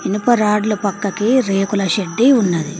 ఇనుప రాడ్ల పక్కనే రేకుల షెడ్డు ఉన్నది.